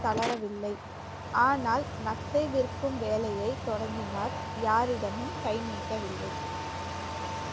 தளரவில்லை. ஆனால் நத்தை விற்கும் வேலையை தொடங்கினார் யாரிடமும் கை நீட்டவில்லை